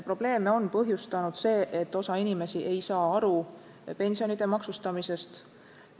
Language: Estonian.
Probleeme on põhjustanud see, et osa inimesi ei saa aru pensionide maksustamisest.